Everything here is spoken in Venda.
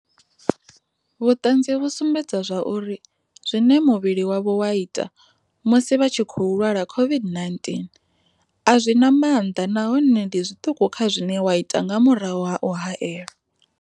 Vhuṱanzi vhu sumbedza zwa uri zwine muvhili wavho wa ita, musi vha tshi khou lwala COVID-19, a zwi na maanḓa nahone ndi zwiṱuku kha zwine wa ita nga murahu ha u haelwa.